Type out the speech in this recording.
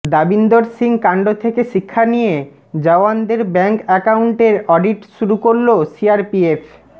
দাবিন্দর সিং কাণ্ড থেকে শিক্ষা নিয়ে জওয়ানদের ব্যাঙ্ক অ্যাকাউন্টের অডিট শুরু করল সিআরপিএফ